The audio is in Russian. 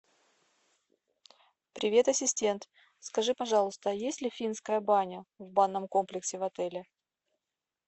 привет ассистент скажи пожалуйста есть ли финская баня в банном комплексе в отеле